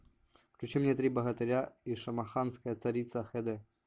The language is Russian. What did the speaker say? включи мне три богатыря и шамаханская царица хэ дэ